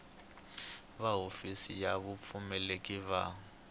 va hofisi ya vupfuneti va